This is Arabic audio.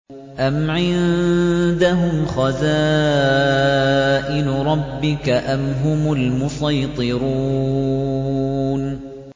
أَمْ عِندَهُمْ خَزَائِنُ رَبِّكَ أَمْ هُمُ الْمُصَيْطِرُونَ